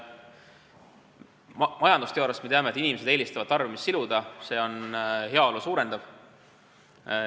Majandusteooriast teame, et inimesed eelistavad tarbimist siluda, see on heaolu suurendav.